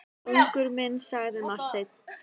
Konungur minn, sagði Marteinn.